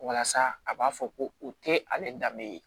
Walasa a b'a fɔ ko u tɛ ale danbe ye